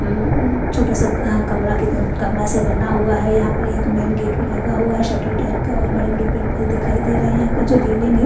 ह उम छोटा सा अ कमरा उन कमरा सा बना हुआ है यहां पर एक मेन गेट भी लगा हुआ है शटर टाइप का और बड़े बड़े पेड़ दिखाई दे रहे हैं यहां का जो रेलिंग है।